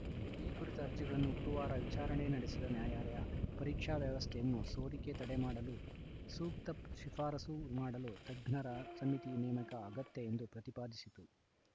ಈ ಕುರಿತ ಅರ್ಜಿಗಳನ್ನು ಗುರುವಾರ ವಿಚಾರಣೆ ನಡೆಸಿದ ನ್ಯಾಯಾಲಯ ಪರೀಕ್ಷಾ ವ್ಯವಸ್ಥೆಯನ್ನು ಸೋರಿಕೆ ತಡೆ ಮಾಡಲು ಸೂಕ್ತ ಶಿಫಾರಸು ಮಾಡಲು ತಜ್ಞರ ಸಮಿತಿ ನೇಮಕ ಅಗತ್ಯ ಎಂದು ಪ್ರತಿಪಾದಿಸಿತು